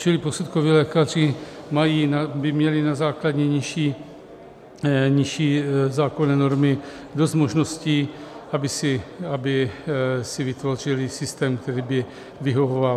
Čili posudkoví lékaři by měli na základě nižší zákonné normy dost možností, aby si vytvořili systém, který by vyhovoval.